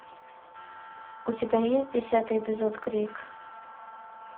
у тебя есть десятый эпизод крик